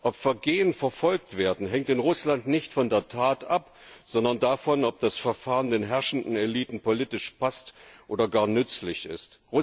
Ob Vergehen verfolgt werden, hängt in Russland nicht von der Tat ab, sondern davon, ob das Verfahren den herrschenden Eliten politisch passt oder gar nützlich ist.